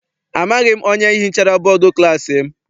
Amaghị m onye hichara bọdu klassi m.